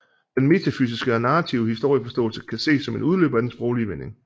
Den metafysiske og narrative historieforståelse kan ses som en udløber af den sproglige vending